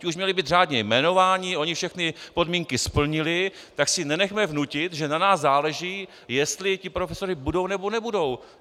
Ti už měli být řádně jmenováni, oni všechny podmínky splnili, tak si nenechme vnutit, že na nás záleží, jestli ti profesoři budou, nebo nebudou.